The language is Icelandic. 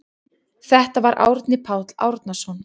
Þetta var Árni Páll Árnason.